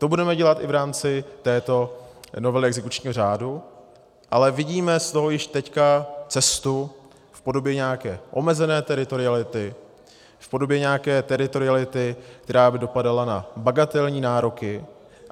To budeme dělat i v rámci této novely exekučního řádu, ale vidíme z toho již teď cestu v podobě nějaké omezené teritoriality, v podobě nějaké teritoriality, která by dopadala na bagatelní nároky.